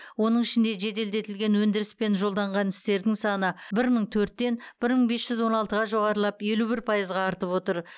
оның ішінде жеделдетілген өндіріспен жолданған істердің саны бір мың төрттен бір мың бес жүз он алтыға жоғарылап елу бір пайызға артып отыр